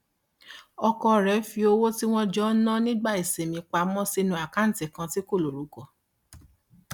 ọkọ rẹ fi owó tí wọn jọ ń ná nígbà ìsinmi pa mọ sínú àkáǹtì kan tí kò lorúkọ